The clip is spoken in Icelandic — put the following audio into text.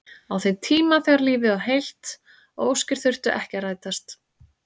Á þeim tíma þegar lífið var heilt og óskir þurftu ekki að rætast.